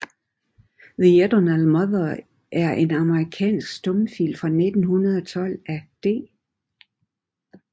The Eternal Mother er en amerikansk stumfilm fra 1912 af D